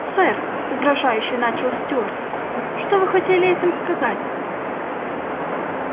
сэр угрожающе начал стюарт что вы хотели этим сказать